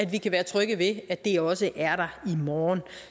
vi kan være trygge ved at det i også er der i morgen